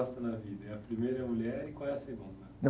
na vida? É, a primeira é a mulher e qual é a segunda?ão.